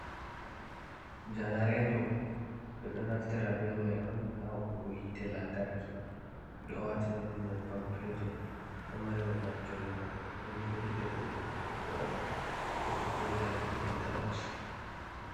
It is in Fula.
Janareeto ɓe ɗo naftira be may on, haa hokkugo yiite lantarki. Ɓe ɗo waatina ɗum nyebbam peetur, ɗo mari babal jogugo. Ɓe ɗo burkita ɗum burkutuggo on, ɗum ɗo jooɗi a dow intaloos.